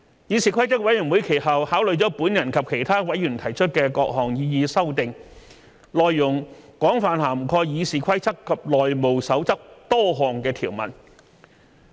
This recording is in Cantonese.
議事規則委員會其後考慮了我及其他委員提出的各項擬議修訂，內容廣泛涵蓋《議事規則》及《內務守則》多項條文。